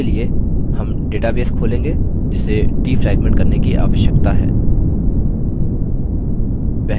इसके लिए हम database खोलेंगे जिसे डिफ्रैग्मेंट करने की आवश्यकता है